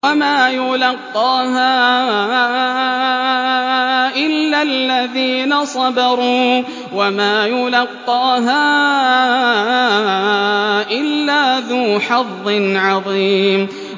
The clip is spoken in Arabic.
وَمَا يُلَقَّاهَا إِلَّا الَّذِينَ صَبَرُوا وَمَا يُلَقَّاهَا إِلَّا ذُو حَظٍّ عَظِيمٍ